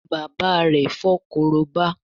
bàbá rẹ fo Korobá